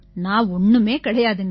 நான் ஒண்ணுமே கிடையாதுங்க